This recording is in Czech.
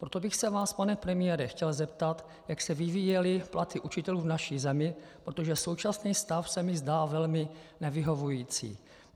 Proto bych se vás, pane premiére, chtěl zeptat, jak se vyvíjely platy učitelů v naší zemi, protože současný stav se mi zdá velmi nevyhovující.